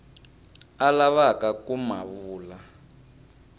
a lavaka ku ma vula